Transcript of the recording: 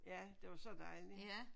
Ja det var så dejligt